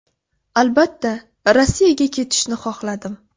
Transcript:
Albatta, Rossiyaga ketishni xohladim.